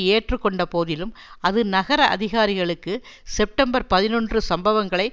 ஏற்றுகொண்ட போதிலும் அது நகர அதிகாரிகளுக்கு செப்டம்பர் பதினொன்று சம்பவங்களை